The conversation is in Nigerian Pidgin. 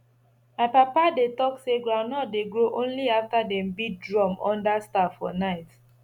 my papa dey talk say groundnut dey grow only after dem beat drum under star for night